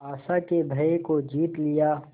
आशा के भय को जीत लिया